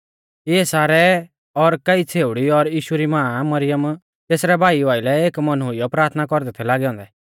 इऐ सारै और कई छ़ेउड़ी और यीशु री मां मरियम तेसरै भाईऊ आइलै एक मन हुइयौ प्राथना कौरदै थै लागै औन्दै